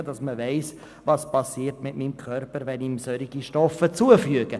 Es geht darum, zu wissen, was mit dem Körper geschieht, wenn man ihm solche Stoffe zuführt.